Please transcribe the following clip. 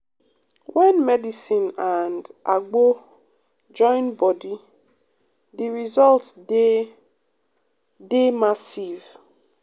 wen medicine and um agbo join body um de result dey um dey massive.